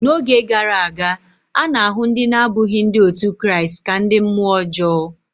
N’oge gara aga, a na-ahụ ndị na-abụghị Ndị otu Kraịst ka ndị mmụọ ọjọọ.